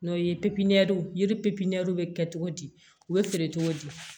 N'o ye pipiɲinaw yiri bɛ kɛ cogo di u bɛ feere cogo di